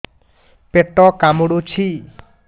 ପେଟ କାମୁଡୁଛି